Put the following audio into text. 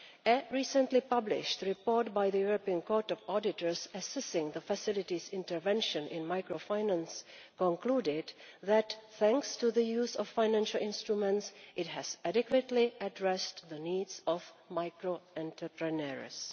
A recently published report by the European Court of Auditors assisting the Facility's intervention in microfinance concluded that thanks to the use of financial instruments it has adequately addressed the needs of micro entrepreneurs.